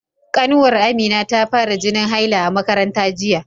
Ƙanwar Amina ta fara jinin haila a makaranta jiya.